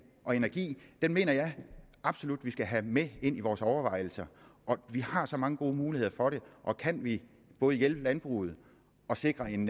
og energi den mener jeg absolut vi skal have med ind i vores overvejelser vi har så mange gode muligheder for det og kan vi både hjælpe landbruget og sikre en